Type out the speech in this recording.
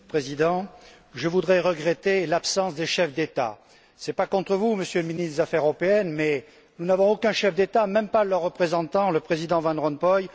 Monsieur le Président, je regrette l'absence des chefs d'État. Ce n'est pas contre vous, Monsieur le ministre des affaires européennes, mais nous n'avons aucun chef d'État, même pas leur représentant, le président Van Rompuy.